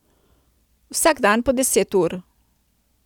Vsak dan po deset ur.